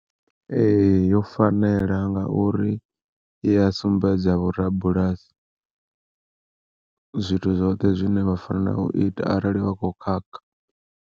Ee yo fanela ngauri i a sumbedza vhorabulasi, zwithu zwoṱhe zwine vha fanela u ita arali vha kho khakha.